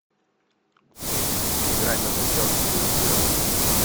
игра между челси и ливерпулем